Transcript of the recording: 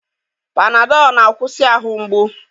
Panadọl na-akwụsị ahụ mgbu.